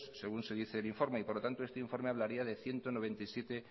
según dice el informe por lo tanto este informe hablaría de ciento noventa y siete